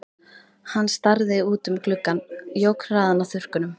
Hann starði út um gluggann, jók hraðann á þurrkunum.